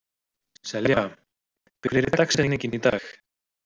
Selja, hver er dagsetningin í dag?